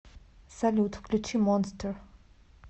салют включи монстер